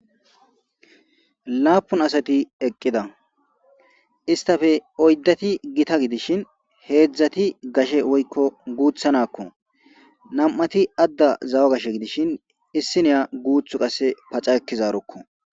Laapun asati eqqida istafe oyddati gita gidishin heedzdzati gashe woykko guutha nakko nam7ati adda zawa gashe gidishin issi niya guuth qasse paca ekkizarokko.